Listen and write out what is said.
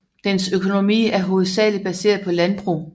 Dens økonomi er hovedsageligt baseret på landbrug